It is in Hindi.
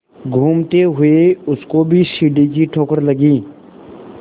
घूमते हुए उसको भी सीढ़ी की ठोकर लगी